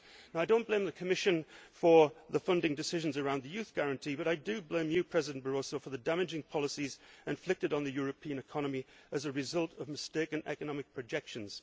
I do not blame the Commission for the funding decisions on the Youth Guarantee, but I do blame you, President Barroso, for the damaging policies inflicted on the European economy as a result of mistaken economic projections.